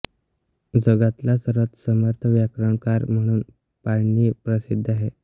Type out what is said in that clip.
जगातला सर्वात समर्थ व्याकरणकार म्हणून पाणिनी प्रसिद्ध आहे